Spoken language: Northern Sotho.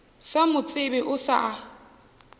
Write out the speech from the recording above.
sa mo tsebe o sa